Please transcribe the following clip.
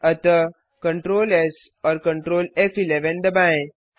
अतः CtrlS और Ctrl फ़11 दबाएँ